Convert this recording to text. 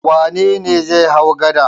Wane ne zai hau gada?